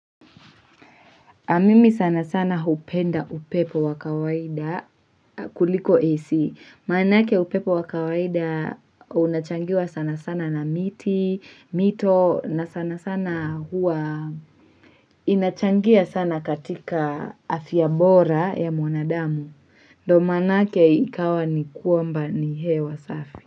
Mimi sana sana hupenda upepo wakawaida kuliko isi. Maanaake upepo wakawaida unachangiwa sana sana na miti, mito, na sana sana hua. Inachangia sana katika afia bora ya mwanadamu. Ndo maanaake ikawa ni kuamba ni hewa safi.